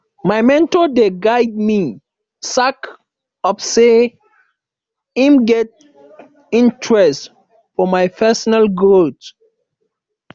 my mentor dey guide me sake of sey im get interest for my personal growth